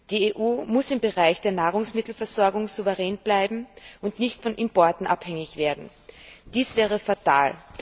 Die EU muss im Bereich der Nahrungsmittelversorgung souverän bleiben und darf nicht von Importen abhängig werden. Dies wäre fatal.